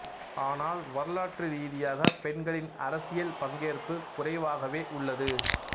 ஆனால் வரலாற்று ரீதியாக பெண்களின் அரசியல் பங்கேற்பு குறைவாகவே உள்ளது